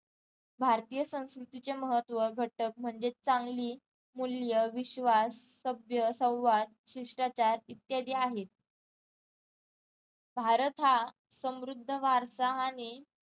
भारतीय संस्कृतीचे महत्त्व घटक म्हणजेच चांगली मूल्य, विश्वास, सभ्य, संवाद, शिष्टाचार इत्यादी आहेत भारत हा समृद्ध वारसाहाने